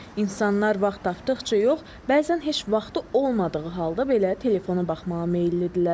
İnsanlar vaxt tapdıqca yox, bəzən heç vaxtı olmadığı halda belə telefona baxmağa meyillidirlər.